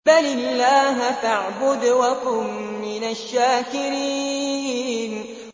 بَلِ اللَّهَ فَاعْبُدْ وَكُن مِّنَ الشَّاكِرِينَ